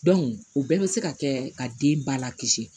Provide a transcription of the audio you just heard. o bɛɛ bɛ se ka kɛ ka den ba la kisi